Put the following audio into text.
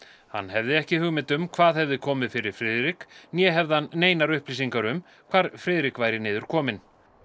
hann hefði ekki hugmynd um hvað hefði komið fyrir Friðrik né hefði hann neinar upplýsingar um hvar Friðrik væri niðurkominn